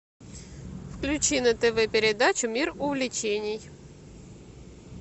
включи на тв передачу мир увлечений